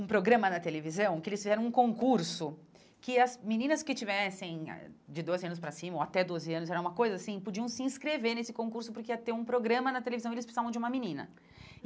um programa na televisão, que eles fizeram um concurso, que as meninas que tivessem ah de doze anos para cima ou até doze anos, era uma coisa assim, podiam se inscrever nesse concurso porque ia ter um programa na televisão e eles precisavam de uma menina.